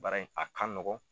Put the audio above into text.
Baara in a ka nɔgɔn.